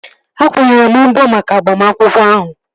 Akwụnyere m mbọ maka agbamakwụkwọ ahụ